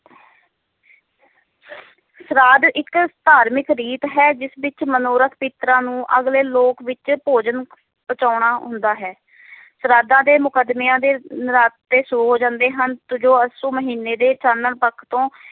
ਸ਼ਰਾਧ ਇਕ ਧਾਰਮਿਕ ਰੀਤ ਹੈ ਜਿਸ ਵਿਚ ਮਨੋਰਕ ਪਿਤ੍ਰਾਂ ਨੂੰ ਅਗਲੇ ਲੋਕ ਵਿਚ ਭੋਜਨ ਪਹੁੰਚਾਉਣਾ ਹੁੰਦਾ ਹੈ ਸ਼ਰਾਧਾਂ ਦੇ ਮੁਦਮੇਆਂ ਦੇ ਨਰਾਤੇ ਸ਼ੁਰੂ ਹੋ ਜਾਂਦੇ ਹਨ ਜੋ ਅੱਸੂ ਮਹੀਨੇ ਦੇ ਚਾਨਣ ਪੱਖ ਤੋਂ